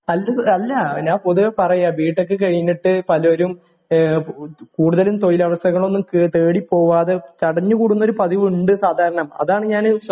അല്ല പൊതുവേ പറയാ ബി ടെക് കഴിഞ്ഞിട്ട് പലരും കൂടുതലും തൊഴിലവസരങ്ങളൊന്നും തേടി പോകാതെ ചടഞ്ഞു കൂടൂന്നൊരു പതിവുണ്ട് സാധാരണ അതാണ് ഞാന്